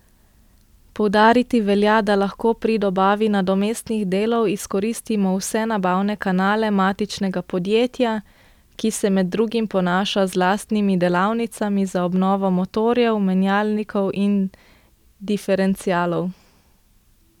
Poudariti velja, da lahko pri dobavi nadomestnih delov izkoristimo vse nabavne kanale matičnega podjetja, ki se med drugim ponaša z lastnimi delavnicami za obnovo motorjev, menjalnikov in diferencialov.